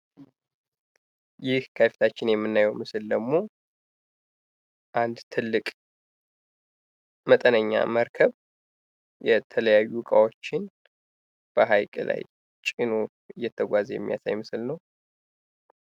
ይህ ከፊታችን የምናየው ምስል ደግሞ አንድ ትልቅ መጠነኛ መርከብ የተለያዩ ዕቃዎችን በሃይቅ ላይ ጭኖ እየተጓዘ የሚያሳይ ምስል ነው።